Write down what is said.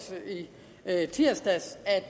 der i tirsdags at